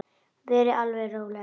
Verið þið alveg róleg.